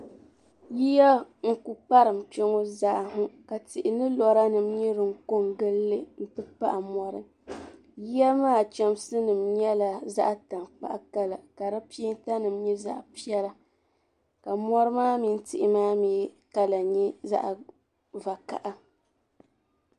Yiya n ku kparim kpeŋɔ zaa ha ka tihi ni lɔra nim nyɛ din kon gili, n ti pahi mɔri, yiya maa chamsi nim nyala zaɣi tankpaɣu kala. ka dipɛɛntanim nyɛ zaɣipɛla , ka mɔri maa mini tihi maa mi kala nyɛ zaɣi vakaha